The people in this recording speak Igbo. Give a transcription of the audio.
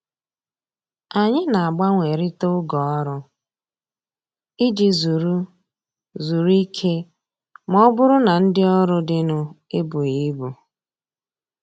Anyị na-agbanwerita oge ọrụ iji zuru zuru ike ma ọ bụrụ na ndị ọrụ dịnụ ebughị ibu